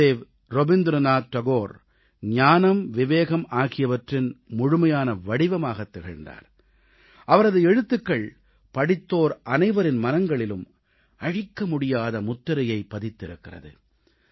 குருதேவ் ரவீந்திரநாத் தாகூர் ஞானம் விவேகம் ஆகியவற்றின் முழுமையான வடிவமாகத் திகழ்ந்தார் அவரது எழுத்துகள் படித்தோர் அனைவரின் மனங்களிலும் அழிக்கமுடியாத முத்திரையைக் பதித்திருக்கிறது